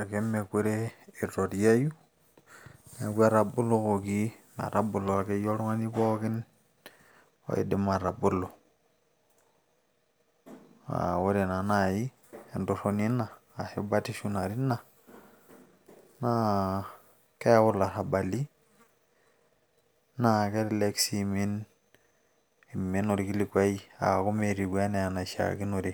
ake meekure eitoriayu, neku etabolokoki, etabolokoki oltungani pookin, oidim atabolo, ee ore naa naaji entoroni eina, ashu batisho eina naa keimin orkilikuai, aaku metiu anaaishaakinore,